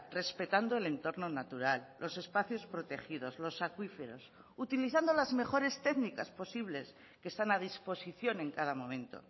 respetando el entorno natural los espacios protegidos los acuíferos utilizando las mejores técnicas posibles que están a disposición en cada momento